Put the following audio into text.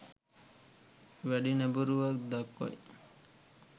වැඩි නැඹුරුවක් දක්වයි